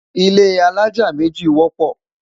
ilé alájá méjì wọpọ